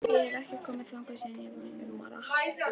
Þangað hef ég ekki komið síðan ég var fimm ára.